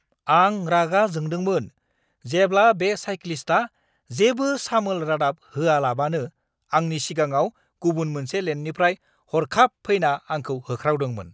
आं रागा जोंदोंमोन जेब्ला बे साइक्लिस्टआ जेबो सामोल रादाब होआलाबानो आंनि सिगाङाव गुबुन मोनसे लेननिफ्राय हर्खाब फैना आंखौ होख्रावदोंमोन!